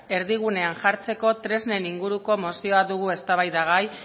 erdigunean jartzeko tresnen inguruko mozioa dugu eztabaidagai